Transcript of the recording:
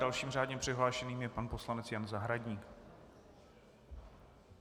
Dalším řádně přihlášeným je pan poslanec Jan Zahradník.